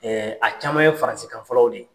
a caman ye Faransikan fɔlaw de ye.